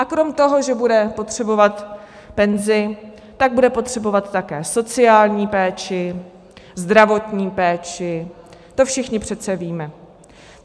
A krom toho, že bude potřebovat penzi, tak bude potřebovat také sociální péči, zdravotní péči, to všichni přece víme.